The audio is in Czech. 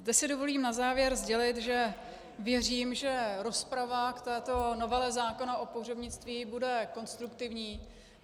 Zde si dovolím na závěr sdělit, že věřím, že rozprava k této novele zákona o pohřebnictví bude konstruktivní.